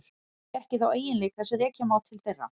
Það hefur því ekki þá eiginleika sem rekja má til þeirra.